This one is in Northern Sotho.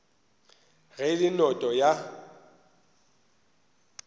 ge e le noto ya